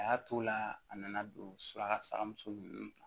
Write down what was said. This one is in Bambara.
A y'a t'o la a nana don surakamuso nunnu na